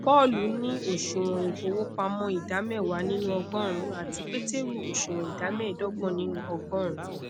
paulu ni oṣuwọn ifowopamọ ida mẹwa ninu ọgọrun ati peteru oṣuwọn ida mẹdọgbọn ninu ọgọrun